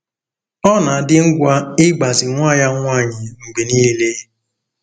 Ọ na-adị ngwa ịgbazi nwa ya nwanyị mgbe niile.